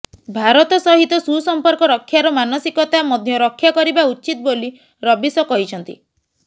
ଭାରତ ସହିତ ସୁସମ୍ପର୍କ ରକ୍ଷାର ମାନସିକତା ମଧ୍ୟ ରକ୍ଷାକରିବା ଉଚିତ ବୋଲି ରବିଶ କହିଛନ୍ତି